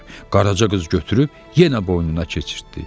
Qaraca qız götürüb yenə boynuna keçirtdi.